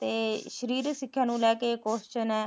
ਤੇ ਸਰੀਰਕ ਸਿੱਖਿਆ ਨੂੰ ਲੈ ਕੇ question ਐ